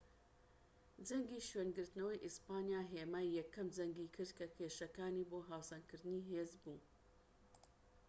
جەنگی شوێنگرتنەوەی ئیسپانیا هێمای یەکەم جەنگی کرد کە کێشەکانی بۆ هاوسەنگکردنی هێز بوو